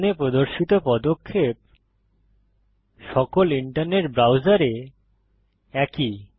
এখানে প্রদর্শিত পদক্ষেপ সকল ইন্টারনেট ব্রাউজারে একই